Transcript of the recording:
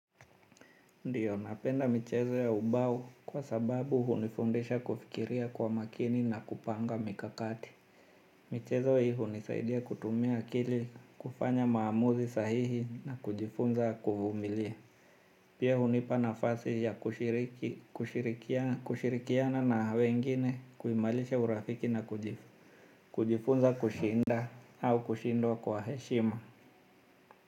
Ndio, napenda michezo ya ubao kwa sababu hunifundisha kufikiria kwa makini na kupanga mikakati. Michezo hii hunisaidia kutumia kili kufanya maamuzi sahihi na kujifunza kuvumilia. Pia hunipa nafasi ya kushirikiana na wengine kuimarisha urafiki na kujifunza kushinda au kushindwa kwa heshima.